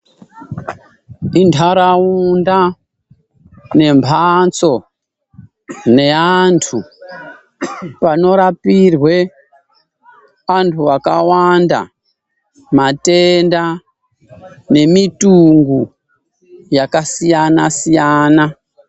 Intaraunda nemhatso neantu, panorapirwe antu akawanda matenda nemitungo yakasiyana-siyana.